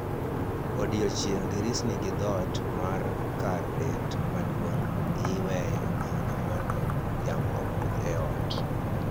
Odiechieng' dirisni gi dhoot mar kar bet maduong' iweyo nono mondo yamo okudh e ot